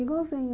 Igualzinho.